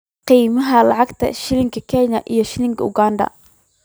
qiimaha lacagta shilinka Kenya iyo shilinka Uganda